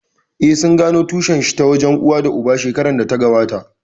Eh, sun gano tushen shi ta wajen uwa da uba shekarar da ta gabata